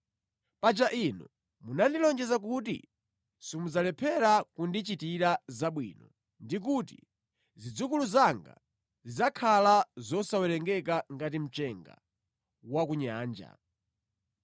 Paja Inu munandilonjeza kuti simudzalephera kundichitira zabwino ndi kuti zidzukulu zanga zidzakhala zosawerengeka ngati mchenga wa ku nyanja.”